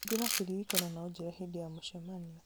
hingũra kĩririkano na ũnjĩre hĩndĩ ya mũcemanio